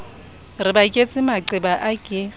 re baketse maqeba a ke